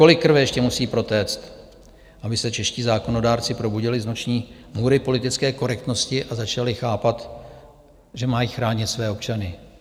Kolik krve ještě musí protéct, aby se čeští zákonodárci probudili z noční můry politické korektnosti a začali chápat, že mají chránit své občany?